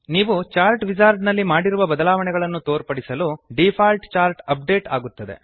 ನೀವು chart wizard ನಲ್ಲಿ ಮಾಡಿರುವ ಬದಲಾವಣೆಗಳನ್ನು ತೋರ್ಪಡಿಸಲು ಡಿಫಾಲ್ಟ್ ಚಾರ್ಟ್ ಅಪ್ ಡೇಟ್ ಆಗುತ್ತದೆ